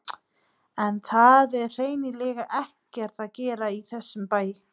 En það er hreinlega ekkert að gerast í þessum bæ.